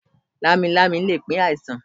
Lámilámi le pín àìsàn.